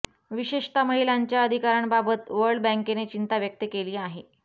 विशेषतः महिलांच्या अधिकारांबाबत वर्ल्ड बँकेने चिंता व्यक्त केली आहे